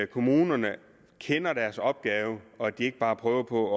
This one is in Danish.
kommunerne kender deres opgave og at de ikke bare prøver på